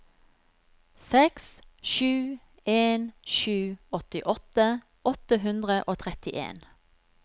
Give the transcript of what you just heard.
seks sju en sju åttiåtte åtte hundre og trettien